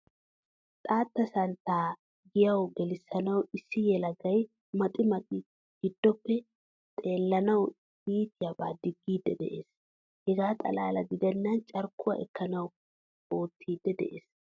Xaattaa santta giyawu gelissanawu issi yelagay maxi maxi giddopee xeellanawu iitiyaba digidi de'ees. Hegaa xalaa giddenan carkkuwaa ekkanadan oottidi de'ees.